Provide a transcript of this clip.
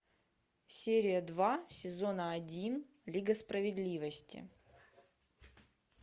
серия два сезона один лига справедливости